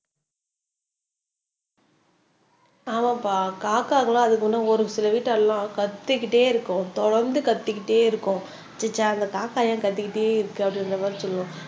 ஆமாப்பா காக்காக்கு எல்லாம் அதுக்கு இன்னும் ஒரு சில வீட்டு எல்லாம் கத்திக்கிட்டே இருக்கும் தொடர்ந்து கத்திக்கிட்டே இருக்கும் அந்த காக்கா ஏன் கத்திக்கிட்டே இருக்கு அப்படின்ற மாதிரி சொல்லுவாங்க